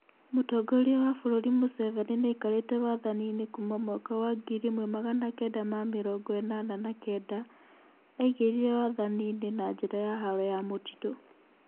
Mũtongoria wa bũrũri Museveni nĩaikarĩte wathani-inĩ kuma mwaka wa ngiri ĩmwe magana kenda ma mĩrongo ĩnana na kenda, aingĩrire wathani-inĩ na njĩra ya haro ya mũtitũ